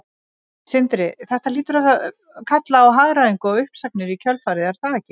Sindri: Þetta hlýtur að kalla á hagræðingu og uppsagnir í kjölfarið er það ekki?